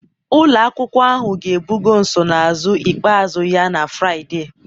ụlọ akwụkwọ ahụ ga-ebugo nsonaazụ ikpeazụ ya na Fraịde